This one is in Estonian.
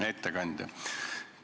Hea ettekandja!